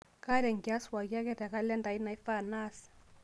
kaata enkias pooki ake te kalenda aai naifaa naas